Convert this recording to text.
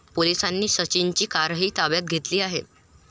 पोलिसांनी सचिनची कारही ताब्यात घेतली आहे.